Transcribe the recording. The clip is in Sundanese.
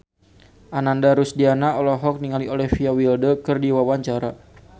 Ananda Rusdiana olohok ningali Olivia Wilde keur diwawancara